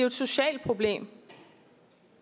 et socialt problem